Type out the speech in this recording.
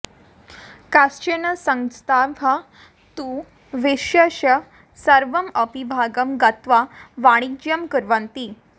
काश्चन संस्थाः तु विश्वस्य सर्वम् अपि भागं गत्वा वाणिज्यं कुर्वन्ति